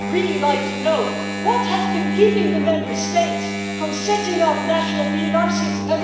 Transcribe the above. I would really like to know what has been keeping the Member States from setting up national PNR systems.